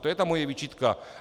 To je ta moje výčitka.